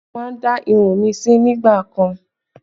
Mo má ń dá irun mi sí nígbà kan